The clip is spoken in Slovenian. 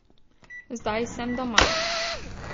Zdaj sem doma.